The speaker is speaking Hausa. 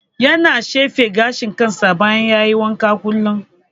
Yana tsefe gashin kansa bayan ya yi wanka kullum.